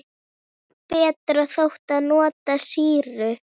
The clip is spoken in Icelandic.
Betra þótti að nota sýru.